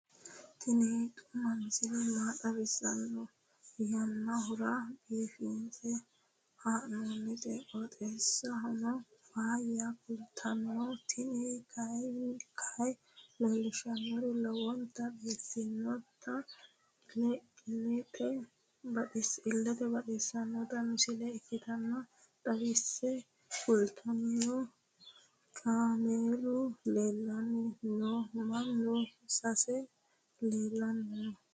tini xuma misile maa xawissanno yaannohura biifinse haa'noonniti qooxeessano faayya kultanno tini kayi leellishshannori lowonta biiffinota illete baxissanno misile ikkase xawisse kultanno. kaameelu leellanni nooe mannu sassu leellanni noe